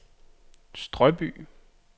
Strøby